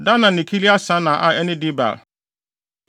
Dana ne Kiriat-Sana a ɛne Debir,